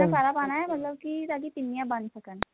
ਇਹਨਾਂ ਸਾਰਾ ਪਾਣਾ ਮਤਲਬ ਕਿ ਤੁਹਾਡੀ ਪਿੰਨੀਆ ਬੰਨ ਸਕਣ